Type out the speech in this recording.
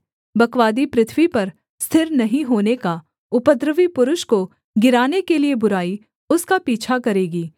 बकवादी पृथ्वी पर स्थिर नहीं होने का उपद्रवी पुरुष को गिराने के लिये बुराई उसका पीछा करेगी